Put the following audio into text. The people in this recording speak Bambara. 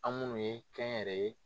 An minnu ye kɛnyɛrɛye